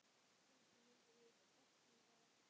Kannski myndum við opna bar.